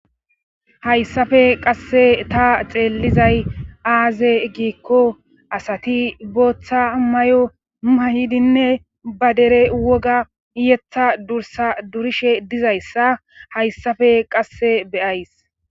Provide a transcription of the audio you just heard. hayssafe qasse ta xeellizay aaze giikko asati booththa may7o huma hidinne ba dere woga yetha dursa durishe dizayssa hayssafe qasse beyays